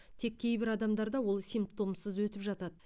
тек кейбір адамдарда ол симптомсыз өтіп жатады